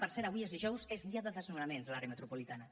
per cert avui és dijous és dia de desnonaments a l’àrea metropolitana